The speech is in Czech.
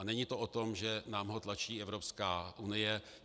A není to o tom, že nám ho tlačí Evropská unie.